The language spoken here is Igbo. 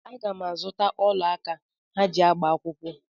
Aga m azụta ọla aka ha ga-eji agba akwụkwọ.